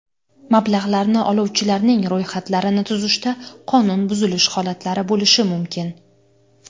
Mablag‘larni oluvchilarning ro‘yxatlarini tuzishda qonun buzilishi holatlari bo‘lishi mumkin.